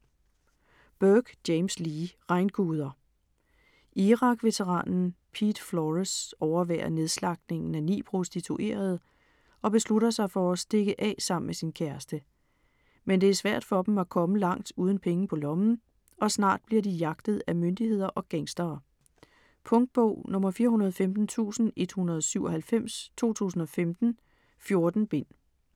Burke, James Lee: Regnguder Irak-veteranen Pete Flores overværer nedslagtningen af ni prostituerede og beslutter sig for at stikke af sammen med sin kæreste. Men det er svært for dem at komme langt uden penge på lommen og snart bliver de jagtet af myndigheder og gangstere. Punktbog 415197 2015. 14 bind.